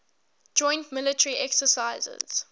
joint military exercises